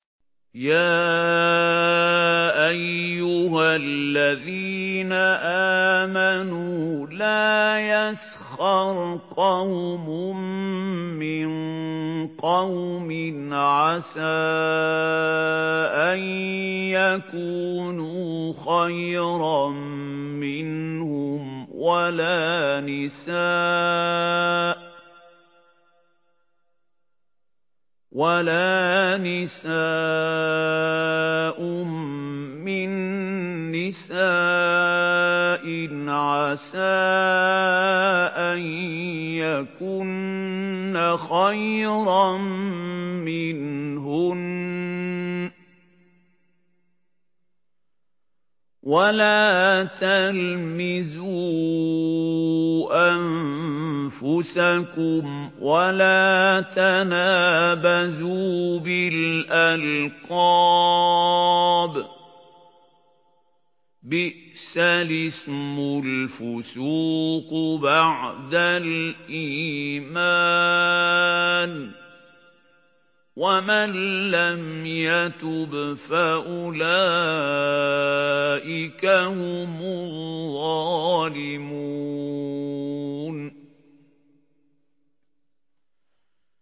يَا أَيُّهَا الَّذِينَ آمَنُوا لَا يَسْخَرْ قَوْمٌ مِّن قَوْمٍ عَسَىٰ أَن يَكُونُوا خَيْرًا مِّنْهُمْ وَلَا نِسَاءٌ مِّن نِّسَاءٍ عَسَىٰ أَن يَكُنَّ خَيْرًا مِّنْهُنَّ ۖ وَلَا تَلْمِزُوا أَنفُسَكُمْ وَلَا تَنَابَزُوا بِالْأَلْقَابِ ۖ بِئْسَ الِاسْمُ الْفُسُوقُ بَعْدَ الْإِيمَانِ ۚ وَمَن لَّمْ يَتُبْ فَأُولَٰئِكَ هُمُ الظَّالِمُونَ